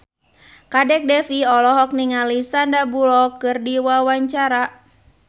Kadek Devi olohok ningali Sandar Bullock keur diwawancara